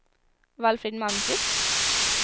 Valfrid Malmqvist